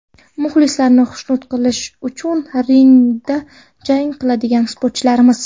Muxlislarni xushnud qilish uchun ringda jang qiladigan sportchilarmiz.